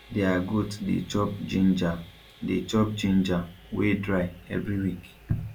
their goat dey chop ginger dey chop ginger wey dry every week